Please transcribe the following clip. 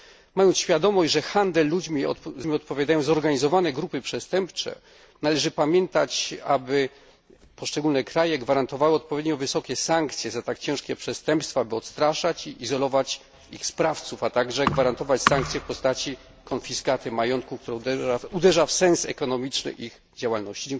Mając świadomość, że za handel ludźmi odpowiadają zorganizowane grupy przestępcze, należy pamiętać, aby poszczególne kraje gwarantowały odpowiednio wysokie sankcje za tak ciężkie przestępstwa, by odstraszać i izolować ich sprawców, a także sankcje w postaci konfiskaty majątku, która uderza w sens ekonomiczny ich działalności.